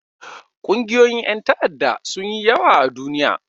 Ƙungiyoyin ƴan ta'adda sun yi yawa a duniya.